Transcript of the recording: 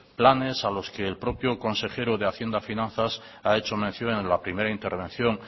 planes a los que el propio consejero de hacienda y finanzas ha hecho mención en la primera intervención